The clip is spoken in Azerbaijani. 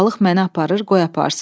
Balıq məni aparır, qoy aparsın.